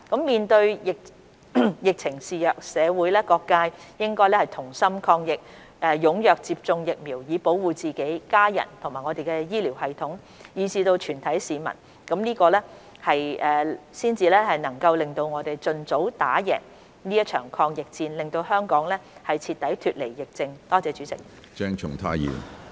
面對疫情肆虐，社會各界應同心抗疫，踴躍接種疫苗以保護自己、家人、我們的醫療系統，以至全體市民，這樣我們才能盡早打贏這場抗疫戰，讓香港徹底脫離疫症。